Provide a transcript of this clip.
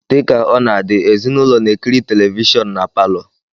Dị ka ọ na-adị, ezinụlọ na-ekiri televishọn na palọ.